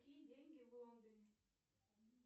какие деньги в лондоне